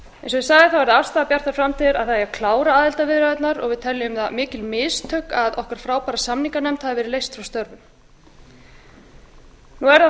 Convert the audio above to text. eins og ég sagði er það afstaða okkar í bjartri framtíð að það eigi að klára aðildarviðræðurnar og við teljum það mikil mistök að okkar frábæra samninganefnd hafi verið